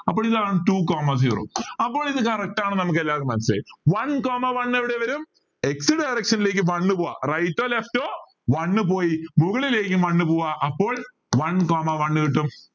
അപ്പോ ഇതാണ് two coma zero അപ്പൊ ഇത് correct ആണ് എന്ന് നമുക്ക് എല്ലാവർക്കും മനസ്സിലായി one coma one എവിടെ വരും x directiom ലേക്ക് one പോവാ right or left one പോയി മുകളിലേക്കും one പോവാ അപ്പോൾ one coma one കിട്ടും